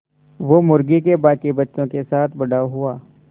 वो मुर्गी के बांकी बच्चों के साथ बड़ा हुआ